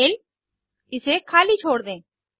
email इसे खाली छोड़ दें